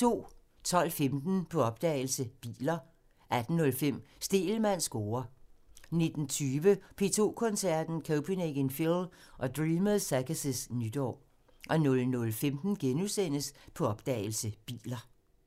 12:15: På opdagelse – Biler 18:05: Stegelmanns score (tir) 19:20: P2 Koncerten – Copenhagen Phil og Dreamers Circus' nytår 00:15: På opdagelse – Biler *